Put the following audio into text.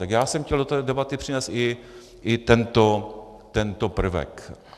Tak já jsem chtěl do té debaty přinést i tento prvek.